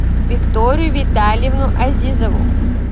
викторию витальевну азизову